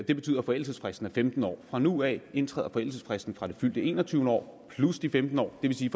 det betyder at forældelsesfristen er femten år fra nu af indtræder forældelsesfristen fra det fyldte enogtyvende år plus de femten år det vil sige